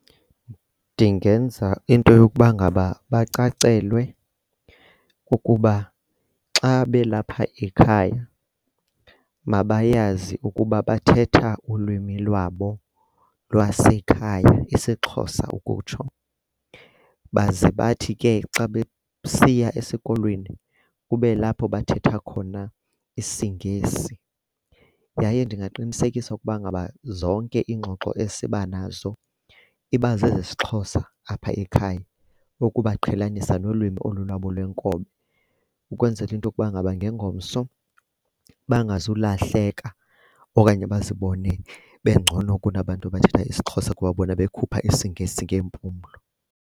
Ndingenza into yokuba ngaba bacacelwe kukuba xa belapha ekhaya mabayazi ukuba bathetha ulwimi lwabo lwasekhaya isiXhosa ukutsho. Baze bathi ke xa besiya esikolweni kubelapho bathetha khona isiNgesi. Yaye ndingaqinisekisa ukuba ngaba zonke iingxoxo esibanazo iba zezesiXhosa apha ekhaya ukubaqhelanisa nolwimi olu lwabo lwenkobe ukwenzela into yokuba ngaba ngengomso bangazulahleka okanye bazibone bengcono kunabantu abathetha isiXhosa kuba bona bekhuphe isiNgesi ngeempumlo.